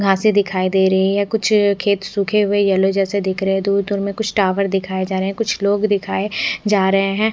घासे दिखायी दे रही है कुछ खेत सूखे हुए येल्लो जैसे दिख रहे है दूर दूर में कुछ टॉवर दिखाई जा रहे कुछ लोग दिखाए जा रहे है।